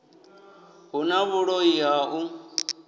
hu na vhuloi ha u